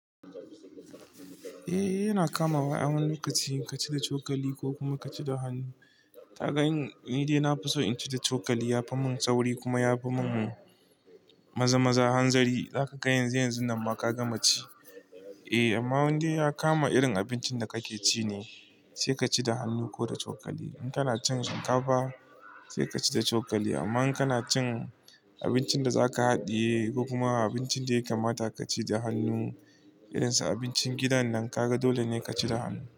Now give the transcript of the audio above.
Eh yana kama wa a wani lokaci ka ci da cokali ko kuma ka ci da hannu. Ka ga in ni dai na fi so in ci da cokali ya fi mun sauri kuma ya fi mun maza-maza hanzari. Zaka ga yanzu yanzu nan ma ka gama ci. Eh amma wanda ya kama irin abincin da kake ci ne sai ka ci da hannu ko da cokali. In kana cin shinkafa sai ka ci da cokali amma in kana cin abincin da zaka haɗiye ko kuma abincin da ya kamata ka ci da hannu irin su abincin gidan nan kaga dole ne ka ci da hannu.